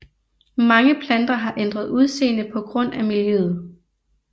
Mange planter har ændret udseende på grund af miljøet